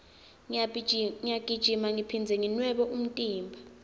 ngiyagijima ngiphindze nginwebe umtimba